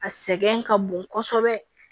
A sɛgɛn ka bon kosɛbɛ